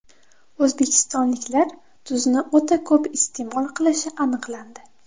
O‘zbekistonliklar tuzni o‘ta ko‘p iste’mol qilishi aniqlandi.